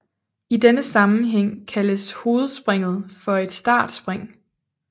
I denne sammenhæng kaldes hovedspringet for et startspring